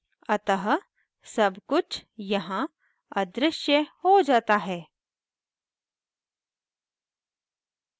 अतः सबकुछ यहाँ अदृश्य हो जाता है